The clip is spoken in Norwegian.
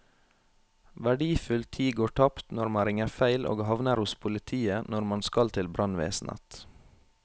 Verdifull tid går tapt når man ringer feil og havner hos politiet når man skal til brannvesenet.